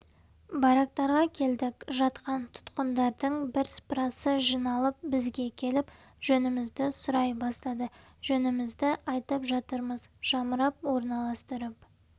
барактарға келдік жатқан тұтқындардың бірсыпырасы жиналып бізге келіп жөнімізді сұрай бастады жөнімізді айтып жатырмыз жамырап орналастырып